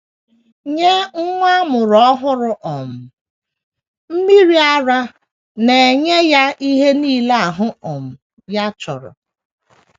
Nye nwa a mụrụ ọhụrụ um, mmiri ara na - enye ya ihe nile ahụ um ya chọrọ.